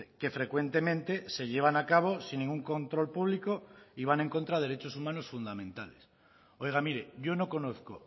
que frecuentemente se llevan a cabo sin ningún control público y van en contra de derechos humanos fundamentales oiga mire yo no conozco